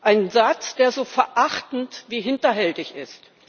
Ein Satz, der so verachtend wie hinterhältig ist.